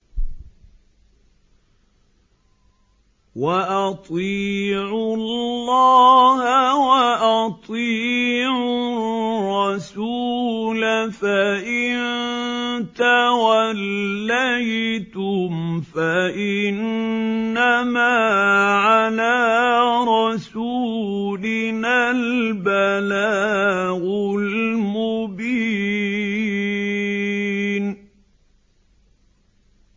وَأَطِيعُوا اللَّهَ وَأَطِيعُوا الرَّسُولَ ۚ فَإِن تَوَلَّيْتُمْ فَإِنَّمَا عَلَىٰ رَسُولِنَا الْبَلَاغُ الْمُبِينُ